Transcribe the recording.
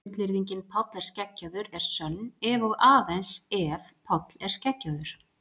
Fullyrðingin Páll er skeggjaður er sönn ef og aðeins ef Páll er skeggjaður.